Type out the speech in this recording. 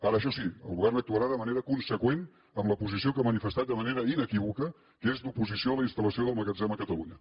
ara això sí el govern actuarà de manera conseqüent amb la posició que ha manifestat de manera inequívoca que és d’oposició a la instal·lació del magatzem a catalunya